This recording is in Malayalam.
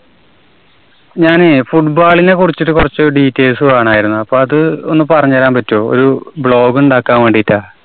ഞാനേ football നെ കുറിച്ചൊരു കുറച്ചു details വേണായിരുന്നു. അപ്പോ അത് ഒന്നു പറഞ്ഞുതരാൻ പറ്റുവോ? ഒരു blog ഉണ്ടാക്കാൻ വേണ്ടീട്ടാ.